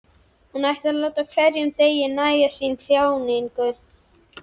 Hún ætlar að láta hverjum degi nægja sína þjáningu.